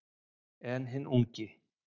En hinn ungi